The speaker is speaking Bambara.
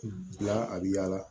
La a bi yala